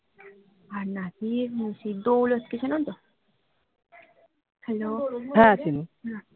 আর নাসির সেই দৌলতকে চেনো তো hello